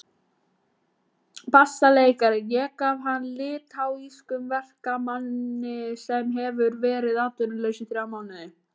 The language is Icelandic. BASSALEIKARI: Ég gaf hann litháískum verkamanni sem hefur verið atvinnulaus í þrjá mánuði.